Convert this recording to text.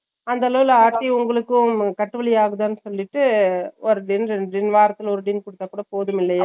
அந்தளவு ஆட்டி உங்களுக்கு கட்டுபிடி ஆகுதான்னு சொல்லிட்டு ஒரு tin ரெண்டு tin வாரத்துல ஒரு tin குடுத்த போதுமில்லையா